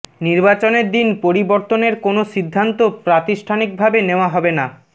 নির্বাচনের দিন পরিবর্তনের কোনো সিদ্ধান্ত প্রাতিষ্ঠানিকভাবে নেওয়া হবে না